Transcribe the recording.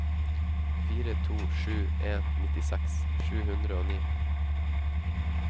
fire to sju en nittiseks sju hundre og ni